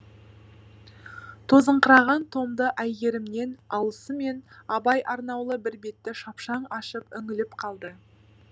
тозыңқыраған томды әйгерімнен алысымен абай арнаулы бір бетті шапшаң ашып үңіліп қалды